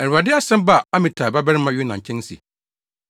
Awurade asɛm baa Amitai babarima Yona nkyɛn se,